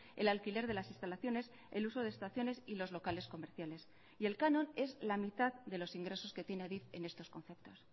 el alquiler de las instalaciones el uso de estaciones y los locales comerciales y el canon es la mitad de los ingresos que tiene adif en estos conceptos